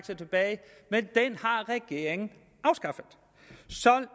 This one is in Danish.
sig tilbage men den har regeringen afskaffet